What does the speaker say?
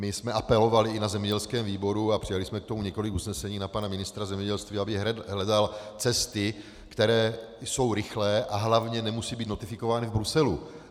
My jsme apelovali i na zemědělském výboru a přijali jsme k tomu několik usnesení na pana ministra zemědělství, aby hledal cesty, které jsou rychlé a hlavně nemusí být notifikovány v Bruselu.